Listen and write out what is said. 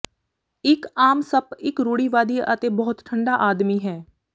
ਇੱਕ ਆਮ ਸੱਪ ਇੱਕ ਰੂੜੀਵਾਦੀ ਅਤੇ ਬਹੁਤ ਠੰਢਾ ਆਦਮੀ ਹੈ